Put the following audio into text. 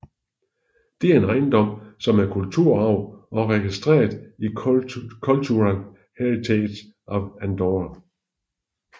Det er en ejendom som er kulturarv og registreret i Cultural Heritage of Andorra